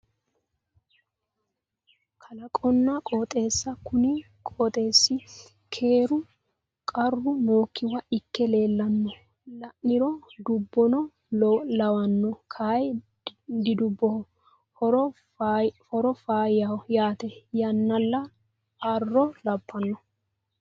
kalaqonna qooxeessa kuni qooxeessi keeru qarru nookkiwa ikke leellanno la'niro dubbono lawanno kayi didubboho horo faayyaho yaate yannalla arro labbnno